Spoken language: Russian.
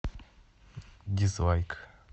дизлайк